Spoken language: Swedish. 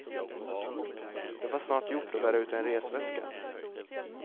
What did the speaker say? Det var snart gjort att bära ut en resväska.